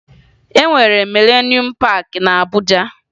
E nwere Milenuum Paakị na Abuja